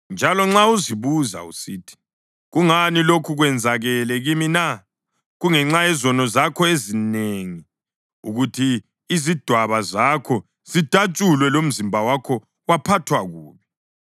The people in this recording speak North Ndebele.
Njalo nxa uzibuza usithi, “Kungani lokhu kwenzakele kimi na?” Kungenxa yezono zakho ezinengi ukuthi izidwaba zakho zidatshulwe lomzimba wakho waphathwa kubi.